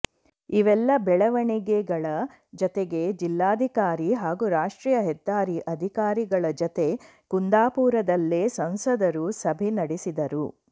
ಇವೆಲ್ಲ ಬೆಳವಣಿಗೆಗಳ ಜತೆಗೆ ಜಿಲ್ಲಾಧಿಕಾರಿ ಹಾಗೂ ರಾಷ್ಟ್ರೀಯ ಹೆದ್ದಾರಿ ಅಧಿಕಾರಿಗಳ ಜತೆ ಕುಂದಾಪುರದಲ್ಲೇ ಸಂಸದರು ಸಭೆ ನಡೆಸಿದರು